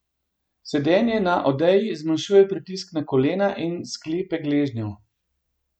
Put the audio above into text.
Sedenje na odeji zmanjšuje pritisk na kolena in sklepe gležnjev.